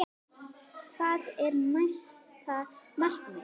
Hvað er næsta markmið?